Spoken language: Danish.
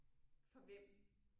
For hvem